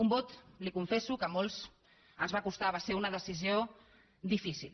un vot li ho confesso que a molts ens va costar va ser una decisió difícil